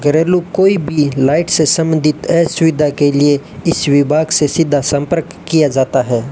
घरेलू कोई भी लाइट से संबंधित ऐ सुविधा के लिए इस विभाग से सीधा संपर्क किया जाता है।